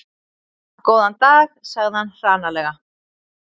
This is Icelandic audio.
Góðan dag sagði hann hranalega.